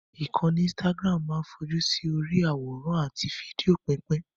Ìkànnì Instagram máa ń fojú sí orí i àwòrán àti fídíò pípín